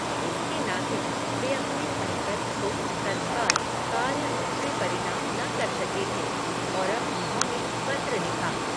इसके नाते, वे अपने संकल्प को, तत्काल, कार्यरूप में परिनाम न कर सके थे, और अब उन्होँने पत्र लिखा